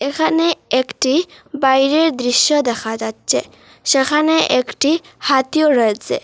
এখানে একটি বাইরের দৃশ্য দেখা যাচ্চে সেখানে একটি হাতিও রয়েচে।